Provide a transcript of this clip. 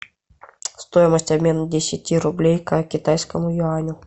стоимость обмена десяти рублей ка китайскому юаню